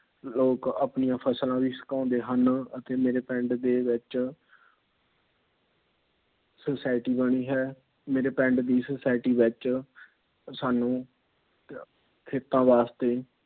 ਲੋਕ ਆਪਣੀਆਂ ਫ਼ਸਲਾਂ ਵੀ ਸੁਕਾਉਂਦੇ ਹਨ। ਅਤੇ ਮੇਰੇ ਪਿੰਡ ਦੇ ਵਿੱਚ Society ਬਣੀ ਹੈ। ਮੇਰੇ ਪਿੰਡ ਦੀ Society ਵਿੱਚ ਸਾਂਨੂੰ ਖੇਤਾਂ ਵਾਸਤੇ